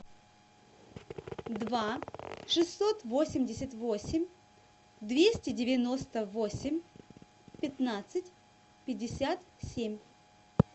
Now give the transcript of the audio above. два шестьсот восемьдесят восемь двести девяносто восемь пятнадцать пятьдесят семь